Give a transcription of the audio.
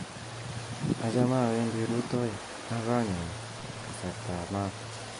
Achame awendi rutoi ak konyun kasartap maat.